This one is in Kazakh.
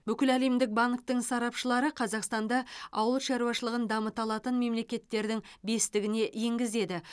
бүкіләлемдік банктің сарапшылары қазақстанды ауыл шаруашылығын дамыта алатын мемлекеттердің бестігіне енгізеді